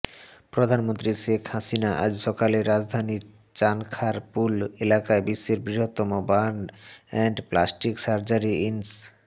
প্রধানমন্ত্রী শেখ হাসিনা আজ সকালে রাজধানীর চানখারপুল এলাকায় বিশ্বের বৃহত্তম বার্ণ এন্ড প্লাস্টিক সার্জারি ইনস্